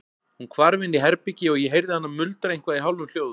Hún hvarf inn í herbergi og ég heyrði hana muldra eitthvað í hálfum hljóðum.